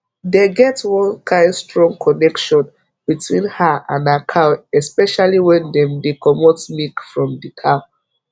dey get one kind strong connection between her and her cow especially wen dem dey comot milk from the cow